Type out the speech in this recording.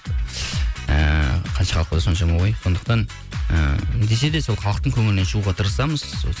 ыыы қанша халық болса соншама ой сондықтан ы десе де сол халықтың көңілінен шығуға тырысамыз